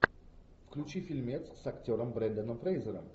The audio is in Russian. включи фильмец с актером бренданом фрейзером